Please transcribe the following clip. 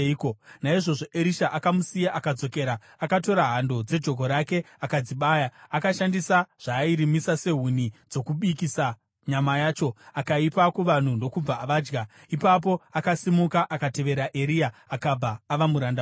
Naizvozvo Erisha akamusiya akadzokera. Akatora hando dzejoko rake akadzibaya. Akashandisa zvaairimisa sehuni dzokubikisa nyama yacho, akaipa kuvanhu, ndokubva vadya. Ipapo akasimuka akatevera Eria akabva ava muranda wake.